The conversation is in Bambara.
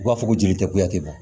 U b'a fɔ ko jeli tɛ kuya tɛ bɔ